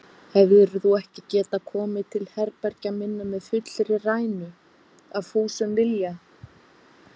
Hefðir þú ekki getað komið til herbergja minna með fullri rænu, af fúsum vilja?